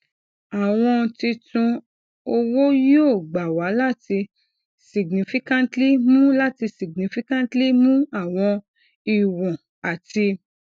awọn titun owo yoo gba wa lati significantly mu lati significantly mu awọn iwọn ati